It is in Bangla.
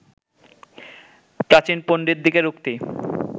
প্রাচীন পণ্ডিতদিগের উক্তি